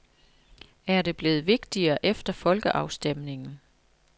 Er det blevet vigtigere efter folkeafstemningen?